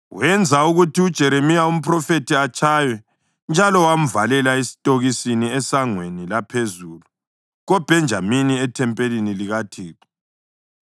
wenza ukuthi uJeremiya umphrofethi atshaywe njalo wamvalela esitokisini eSangweni laPhezulu koBhenjamini ethempelini likaThixo.